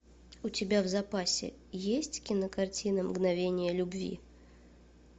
у тебя в запасе есть кинокартина мгновения любви